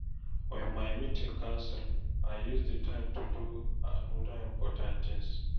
When my meeting cancel, I use the time do another important thing.